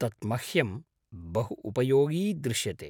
तत् मह्यं बहु उपयोगी दृश्यते।